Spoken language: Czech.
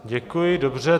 Děkuji, dobře.